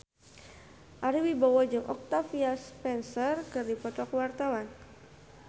Ari Wibowo jeung Octavia Spencer keur dipoto ku wartawan